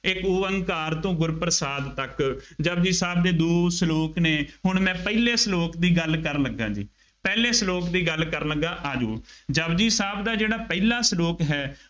ਇੱਕ ਉਅੰਕਾਰ ਤੋਂ ਗੁਰ ਪ੍ਰਸਾਦਿ ਤੱਕ ਜਪੁਜੀ ਸਾਹਿਬ ਦੇ ਦੋ ਸਲੋਕ ਨੇ, ਹੁਣ ਮੈਂ ਪਹਿਲੇ ਸਲੋਕ ਦੀ ਗੱਲ ਕਰਨ ਲੱਗਾ ਜੀ, ਪਹਿਲੇ ਸਲੋਕ ਦੀ ਗੱਲ ਕਰਨ ਲੱਗਾ, ਆ ਜਾਉ, ਜਪੁਜੀ ਸਾਹਿਬ ਦਾ ਜਿਹੜਾ ਪਹਿਲਾ ਸਲੋਕ ਹੈ।